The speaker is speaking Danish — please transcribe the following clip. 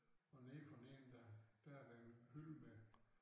Og nede for neden der der er der en hylde med